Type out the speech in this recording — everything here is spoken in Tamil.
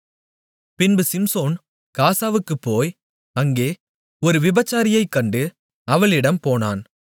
பின்பு சிம்சோன் காசாவுக்குப் போய் அங்கே ஒரு விபச்சாரியை கண்டு அவளிடம் போனான்